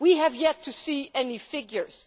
We have yet to see any figures.